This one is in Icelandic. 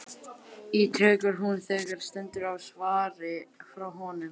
ítrekar hún þegar stendur á svari frá honum.